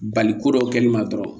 Bali ko dɔ kɛli ma dɔrɔn